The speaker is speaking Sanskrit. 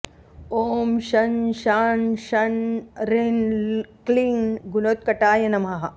ॐ शं शां षं ह्रीं क्लीं गुणोत्कटाय नमः